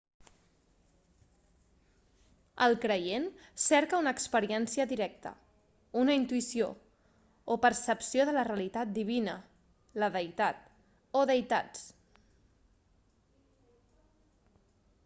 el creient cerca una experiència directa una intuïció o percepció de la realitat divina/la deïtat o deïtats